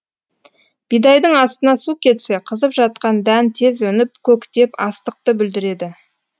бидайдың астына су кетсе қызып жатқан дән тез өніп көктеп астықты бүлдіреді